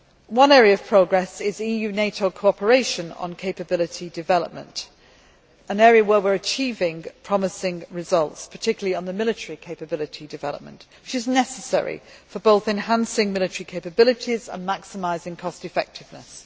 One area of progress is EU NATO cooperation on capability development, an area where we are achieving promising results, particularly on the military capability development, which is necessary for both enhancing military capabilities and maximising cost effectiveness.